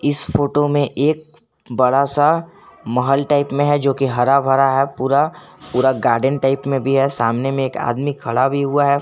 इस फोटो में एक बड़ा सा महल टाइप में है जो की हरा भरा है पूरा पूरा गार्डन टाइप में भी है सामने में एक आदमी खड़ा भी हुआ है।